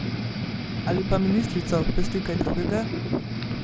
Ali pa ministrico pesti kaj drugega?